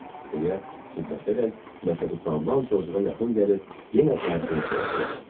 deyə fikirləşərək Məşədi Salman coçuğa yaxın gəlib yenə qayçını soruştu.